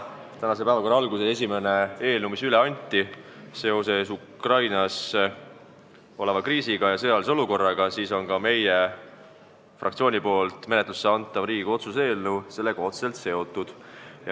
Tänase päevakorra alguses anti üle eelnõu seoses Ukrainas oleva kriisiga ja sõjalise olukorraga, meie fraktsiooni poolt menetlusse antav Riigikogu otsuse eelnõu on sellega otseselt seotud.